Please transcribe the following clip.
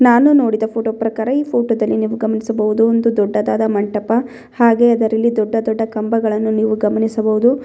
ನಾನು ನೋಡಿದ ಈ ಫೋಟೋ ಪ್ರಕಾರ ಈ ಫೋಟೋದಲ್ಲಿ ನೀವು ಗಮನಿಸಬಹುದು ಒಂದು ದೊಡ್ಡದಾದ ಮಂಟಪ ಹಾಗೆ ಇದರಲ್ಲಿ ದೊಡ್ಡ ದೊಡ್ಡ ಕಂಬಗಳನ್ನು ನೀವು ಗಮನಿಸಬಹುದು.